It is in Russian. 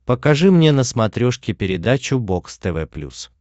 покажи мне на смотрешке передачу бокс тв плюс